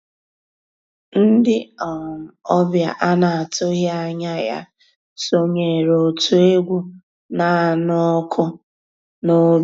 Ndị́ um ọ̀bịá á ná-àtụ́ghị́ ànyá yá sonyééré ótú égwu ná-ànụ́ ọ́kụ́ n'òbí.